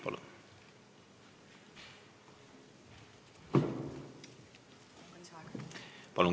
Palun!